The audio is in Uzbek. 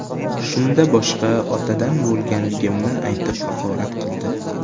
Shunda boshqa otadan bo‘lganligimni aytib haqorat qildi.